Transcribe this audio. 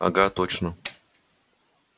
ага точно